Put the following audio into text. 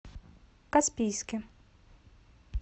каспийске